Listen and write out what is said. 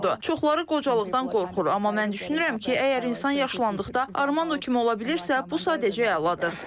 Çoxları qocalıqdan qorxur, amma mən düşünürəm ki, əgər insan yaşlandıqda Armando kimi ola bilirsə, bu sadəcə əladır.